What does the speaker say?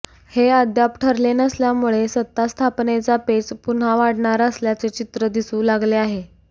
हे अद्याप ठरले नसल्यामुळे सत्तास्थापनेचा पेच पुन्हा वाढणार असल्याचे चित्र दिसू लागले आहे